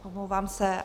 Omlouvám se.